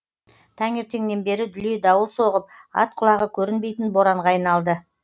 таңертеңнен бері дүлей дауыл соғып ат құлағы көрінбейтін боранға айналды